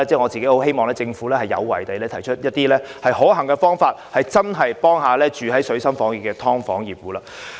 我希望政府有為地提出一些可行的方法，以真正協助身處水深火熱的"劏房戶"。